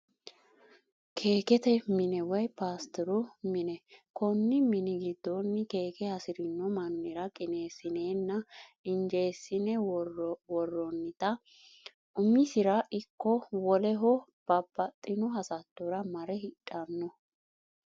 Keekete mine woyi pastiru mine, koni mini gidoonni keeke hasirino manira qineesinenna injeesine woronitta umisira ikko woleho babaxitino hasattora mare hidhano